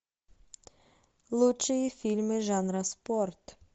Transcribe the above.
лучшие фильмы жанра спорт